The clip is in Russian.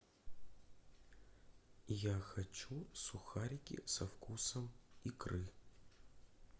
я хочу сухарики со вкусом икры